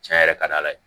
Cɛn yɛrɛ ka d' ala ye